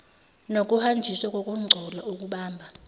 nokuhanjiswa kokungcola okubamba